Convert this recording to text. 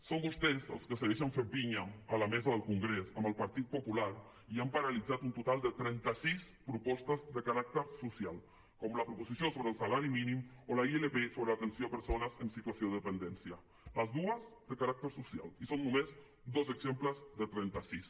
són vostès els que segueixen fet pinya a la mesa del congrés amb el partit popular i han paralitzat un total de trenta sis propostes de caràcter social com la proposició sobre el salari mínim o la ilp sobre l’atenció a persones en situació de dependència les dues de caràcter social i són només dos exemples de trenta sis